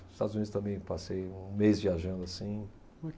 Nos Estados Unidos também passei um mês viajando assim.